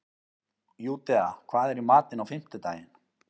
Júdea, hvað er í matinn á fimmtudaginn?